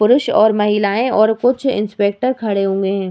पुरुष और महिलाएं और कुछ इंस्पेक्टर खड़े हुए है।